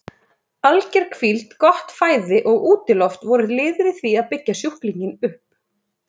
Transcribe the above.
Alger hvíld, gott fæði og útiloft voru liðir í því að byggja sjúklinginn upp.